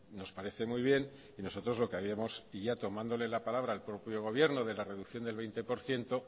nos parece muy bien y nosotros lo que habíamos y ya tomándole la palabra al propio gobierno de la reducción del veinte por ciento